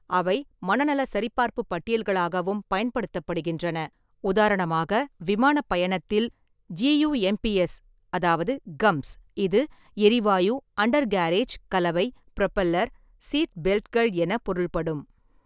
அவை மனநல சரிபார்ப்புப் பட்டியல்களாகவும் பயன்படுத்தப்படுகின்றன, உதாரணமாக விமானப் பயணத்தில்: "ஜியூஎம்பிஎஸ்"அதாவது (கம்ப்ஸ்), இது "எரிவாயு-அண்டர்கேரேஜ்-கலவை-புரொப்பல்லர்-சீட்பெல்ட்கள்" என பொருள்படும்.